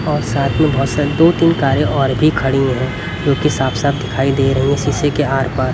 और साथ में बहोत सारी दो तीन कारें और भी खड़ी है क्योंकि साफ साफ दिखाई दे रही है शीशे के आर पार।